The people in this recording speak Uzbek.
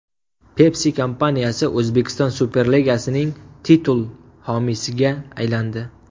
Pepsi kompaniyasi O‘zbekiston Superligasining titul homiysiga aylandi.